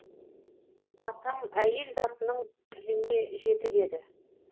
атам әйел затының тіліне жетік еді